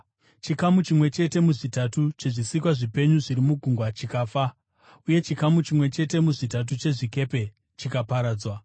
chikamu chimwe chete muzvitatu chezvisikwa zvipenyu zviri mugungwa chikafa, uye chikamu chimwe chete muzvitatu chezvikepe chikaparadzwa.